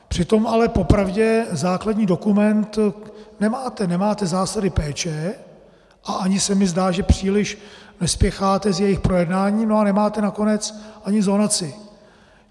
Přitom ale po pravdě základní dokument nemáte, nemáte zásady péče a ani se mi zdá, že příliš nespěcháte s jejich projednáním, a nemáte nakonec ani zonaci.